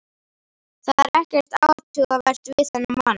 Það er ekkert athugavert við þennan mann.